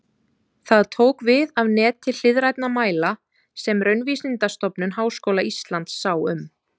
Það tók við af neti hliðrænna mæla sem Raunvísindastofnun Háskóla Íslands sá um.